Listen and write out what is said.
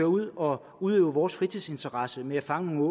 ud og udøve vores fritidsinteresser med at fange